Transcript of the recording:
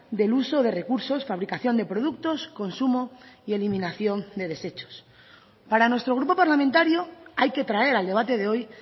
del uso de recursos fabricación de productos consumo y eliminación de deshechos para nuestro grupo parlamentario hay que traer al debate de hoy